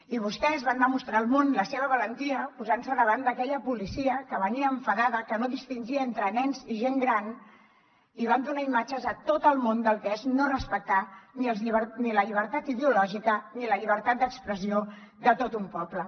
i vostès van demostrar al món la seva valentia posant se davant d’aquella policia que venia enfadada que no distingia entre nens i gent gran i van donar imatges a tot el món del que és no respectar ni la llibertat ideològica ni la llibertat d’expressió de tot un poble